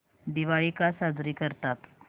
दिवाळी का साजरी करतात